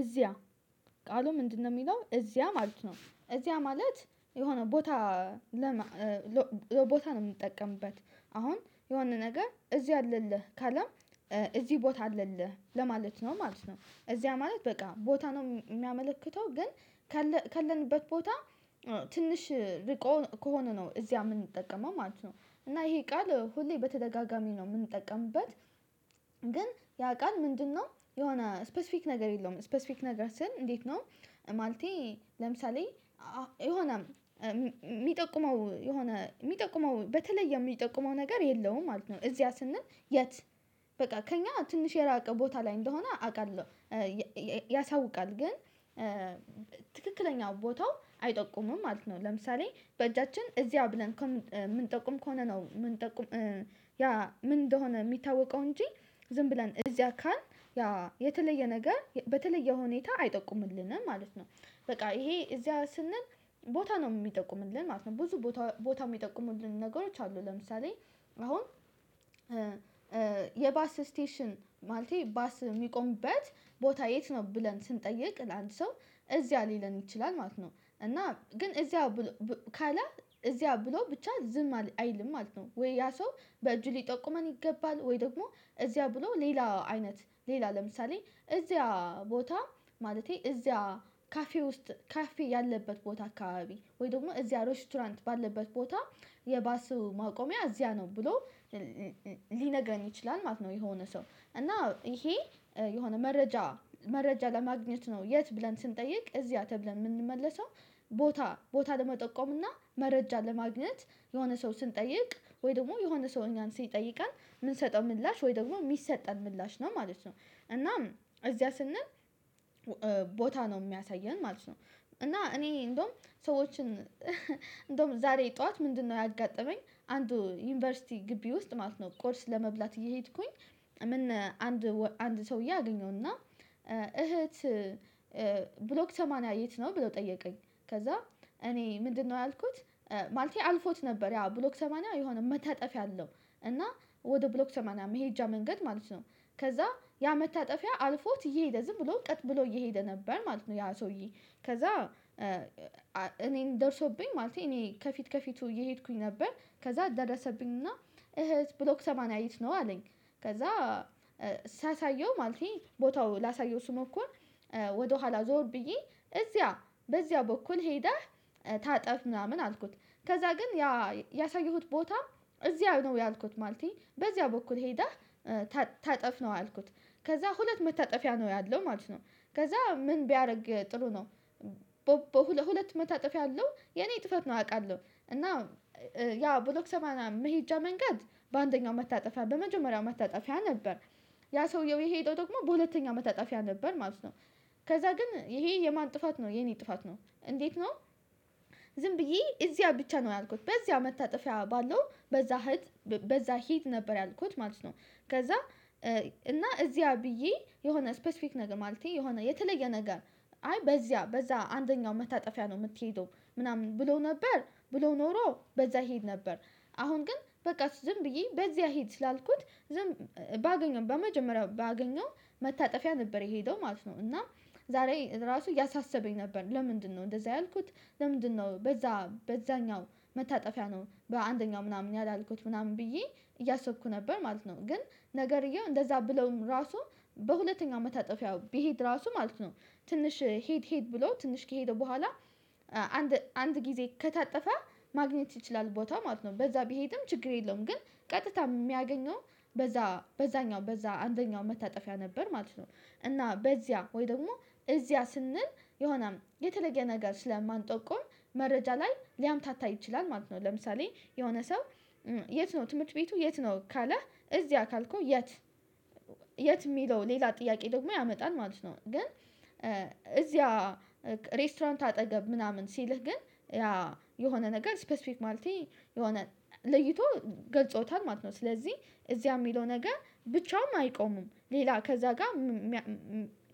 እዚያ ቃሉ ምንድነው? የሚለው እዚያ ማለት ነው እዚያ ማለት የሆነ ቦታ ለቦታ ነው የምንጠቀምበት አሁን የሆነ ነገር እዚህ አለልህ ካለም እዚህ ቦታ አለልህ ለማለት ነው ማለት ነው። እዚያ ማለት በቃ ቦታ ነው የሚያመለክተው ግን ካለንበት ቦታ ትንሽ ርቆ ከሆነ ነው እዚያ የምንጠቀመው ማለት ነው። እና ይሄ ቃል ሁሌ በተደጋጋሚ ነው የምንጠቀምበት። ግን ያ ቃል ምንድነው የሆነ ስፔሲፊክ ነገር የለውም ስፔሲፊክ ነገር ስል እንዴት ነው። ማለቴ ለምሳሌ የሆነ የሚጠቁመው የሆነ የሚጠቁመው በተለይ የሚጠቁመው ነገር የለውም ማለት ነው። እዚያ ስንል የት? በቃ ከእኛ ትንሽ የራቀ ቦታ ላይ እንደሆነ አውቃለሁ ያሳውቃል ግን ትክክለኛው ቦታው አይጠቁምም ማለት ነው። ለምሳሌ በእጃችን እዚያው ብለን ምንጠቁም ከሆነ ነው የምንጠቁም ያ ምን እንደሆነ የሚታወቀው እንጂ ዝም ብለን እዚያ ካልን ያ የተለየ ነገር በተለየ ሁኔታ አይጠቁምልንም ማለት ነው። በቃ ይሄ እዚያ ስንል ቦታ ነው የሚጠቁምልን ማለት ነው። ብዙ ቦታ ቦታው የሚጠቁሙልን ነገሮች አሉ። ለምሳሌ አሁን የባስ ስቴሽን ማለቴ ባስ የሚቆምበት ቦታ የት ነው? ብለን ስንጠይቅ ለአንድ ሰው እዚያ ሊለን ይችላል ማለት ነው። እና ግን እዚያ ካለ እዚያ ብሎ ብቻ ዝም አይልም ማለት ነው። ወይ ያ ሰው በእጁ ሊጠቁመን ይገባል ወይ ደግሞ እዚያ ብሎ ሌላ አይነት ሌላ ለምሳሌ እዚያ ቦታ ማለቴ እዚያ ካፌ ውስጥ ካፌ ያለበት ቦታ አካባቢ ወይ ደግሞ እዚያ ሬስቶራንት ባለበት ቦታ የባስ ማቆሚያ እዚያ ነው ብሎ ሊነግረኝ ይችላል ማለት ነው። የሆነ ሰው እና ይሄ የሆነ መረጃ መረጃ ለማግኘት ነው የት ብለን ስንጠይቅ እዚያ ተብለን የምንመለሰው ቦታ ቦታ ለመጠቆም እና መረጃ ለማግኘት የሆነ ሰው ስንጠይቅ ወይ ደግሞ የሆነ ሰው እኛን ሲጠይቀን የምንሰጠው ምላሽ ወይ ደግሞ የሚሰጠን ምላሽ ነው ማለት ነው። እናም እዚያ ስንል ቦታ ነው የሚያሳየን ማለት ነው። እና እኔ እንደውም ሰዎችን እንደውም ዛሬ ጠዋት ምንድነው ያጋጠመኝ አንዱ ዩኒቨርሲቲ ግቢ ውስጥ ማለት ነው። ቁርስ ለመብላት እየሄድኩኝ ምን አንድ አንድ ሰውዬ አገኘሁና እህት ብሎክ ሰማንያ የት ነው ብሎ ጠየቀኝ። ከዛ እኔ ምንድነው ያልኩት ማለቴ አልፎት ነበር ያ ብሎክ ሰማንያ የሆነ መታጠፍ ያለው እና ወደ ብሎክ ሰማንያ መሄጃ መንገድ ማለት ነው። ከዛ ያ መታጠፊያ አልፎት እየሄደ ዝም ብሎ ቀጥ ብሎ እየሄደ ነበር ማለት ነው። ያ ሰውዬ ከዛ እኔን ደርሶብኝ ማለቴ እኔ ከፊት ከፊቱ እየሄድኩኝ ነበር ከዛ ደረሰብኝና እህት ብሎክ ሰማናያ የት ነው አለኝ። ከዛ ሳሳየው ማለቴ ቦታው ላሳየው ስሞክር ወደኋላ ዞር ብዬ እዚያ በዚያ በኩል ሄደህ ታጠፍ ምናምን አልኩት። ከዛ ግን ያ ያሳየሁት ቦታ እዚያ ነው ያልኩት ማለቴ በዚያ በኩል ሄደህ ታጠፍ ነው ያልኩት። ከዛ ሁለት መታጠፊያ ነው ያለው ማለት ነው። ከዛ ምን ቢያደርግ ጥሩ ነው። በሁለት መታጠፍ ያለው የኔ ጥፋት ነው አውቃለሁ። እና ያ ብሎክ ሰማንያ መሄጃ መንገድ በአንደኛው መታጠፊያ በመጀመሪያው መታጠፊያ ነበር ያ ሰውየው የሄደው ደግሞ በሁለተኛ መታጣፊያ ነበር ማለት ነው። ከዛ ግን ይሄ የማን ጥፋት ነው የኔ ጥፋት ነው እንዴት ነው? ዝም ብዬ እዚያ ብቻ ነው ያልኩት በዚያ መታጠፊያ ባለው በዛ ሂድ በዛ ሂድ ነበር ያልኩት ማለት ነው። ከዛ እና እዚያ ብዬ የሆነ ስፔሲፊክ ነገር ማለቴ የሆነ የተለየ ነገር አይ በዚያ በዛ አንደኛው መታጠፊያ ነው የምትሄደው ምናምን ብለው ነበር ብለው ኖሮ በዛ ይሄድ ነበር። አሁን ግን በቃ ዝም ብዬ በዚያ ሄድ ስላልኩት ዝም ባገኘው በመጀመሪያው ባገኘው መታጠፊያ ነበር የሄደው ማለት ነው። እና ዛሬ ራሱ እያሳሰበኝ ነበር ለምንድነው እንደዛ ያልኩት። ለምንድነው በዛ በዛኛው መታጠፊያ ነው በአንደኛው ምናምን ያላልኩት ምናምን ብዬ እያሰብኩ ነበር ማለት ነው። ግን ነገርየው እንደዛ ብለውም ራሱ በሁለተኛው መታጠፊያው ቢሄድ ራሱ ማለት ነው። ትንሽ ሄድ ሄድ ብሎ ትንሽ ከሄደ በኋላ አንድ አንድ ጊዜ ከታጠፈ ማግኘት ይችላል ቦታው ማለት ነው። በዛ ቢሄድም ችግር የለውም። ግን ቀጥታ የሚያገኘው በዛ በዛኛው በዛ አንደኛው መታጠፊያ ነበር ማለት ነው። እና በዚያ ወይ ደግሞ እዚያ ስንል የሆነም የተለየ ነገር ስለማንጠቁም መረጃ ላይ ሊያምታታ ይችላል ማለት ነው። ለምሳሌ የሆነ ሰው የት ነው ትምህርት ቤቱ የት ነው? ካለ እዚያ ካልኩ የት የት የሚለው ሌላ ጥያቄ ደግሞ ያመጣል ማለት ነው። ግን እዚያ ሬስቶራንት አጠገብ ምናምን ሲልህ ግን ያ የሆነ ነገር ስፔሲፊክ ማለቴ የሆነ ለይቶ ገልጾታል ማለት ነው። ስለዚህ እዚያ የሚለው ነገር ብቻውን አይቆምም ሌላ ከዛ ጋር